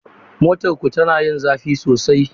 Motarku tana yin zafi sosai?